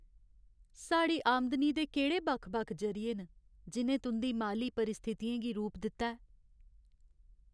साढ़ी आमदनी दे केह्ड़े बक्ख बक्ख जरिये न जि'नें तुं'दी माली परिस्थितियें गी रूप दित्ता ऐ?